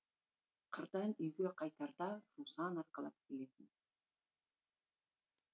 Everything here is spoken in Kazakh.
қырдан үйге қайтарда жусан арқалап келетін